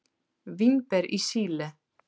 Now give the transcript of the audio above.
Vínber í Síle.